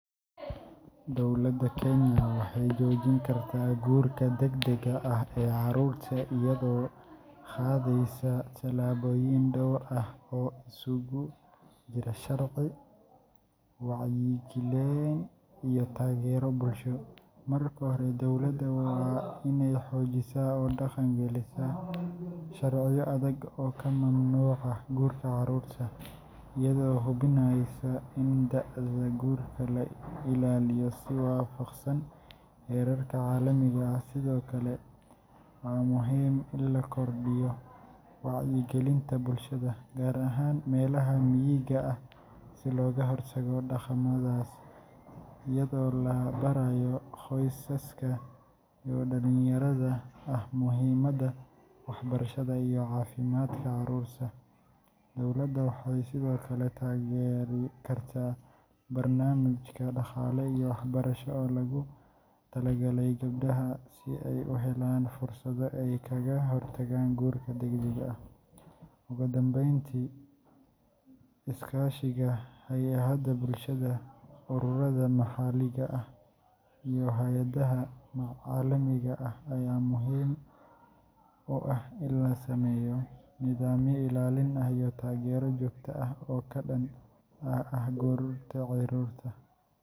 Dowladda Kenya waxay joojin kartaa guurka degdega ah ee carruurta iyadoo qaadaysa tallaabooyin dhowr ah oo isugu jira sharci, wacyigelin, iyo taageero bulsho. Marka hore, dowladda waa inay xoojisaa oo dhaqan gelisaa sharciyo adag oo ka mamnuuca guurka carruurta, iyadoo hubinaysa in da’da guurka la ilaaliyo si waafaqsan heerarka caalamiga ah. Sidoo kale, waa muhiim in la kordhiyo wacyigelinta bulshada, gaar ahaan meelaha miyiga ah, si looga hortago dhaqamadaas, iyadoo la barayo qoysaska iyo dhalinyarada ah muhiimadda waxbarashada iyo caafimaadka carruurta. Dowladda waxay sidoo kale taageeri kartaa barnaamijyo dhaqaale iyo waxbarasho oo loogu talagalay gabdhaha si ay u helaan fursado ay kaga hortagaan guurka degdega ah. Ugu dambeyntii, iskaashiga hay’adaha bulshada, ururada maxalliga ah, iyo hay’adaha caalamiga ah ayaa muhiim u ah in la sameeyo nidaamyo ilaalin iyo taageero joogto ah oo ka dhan ah guurka carruurta.